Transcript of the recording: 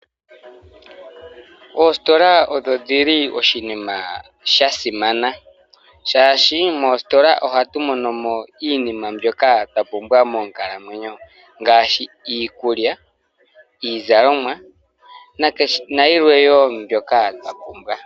Oositola odho dhili oshinima sha simana. Oshoka moositola ohatu mono mo iinima mbyoka twa pumbwa moonkalamwenyo. Ngaashi iikulya, iizalomwa nayilwe tuu mbyoka twa pumbwa.